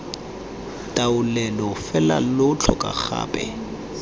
taolelo fela lo tlhoka gape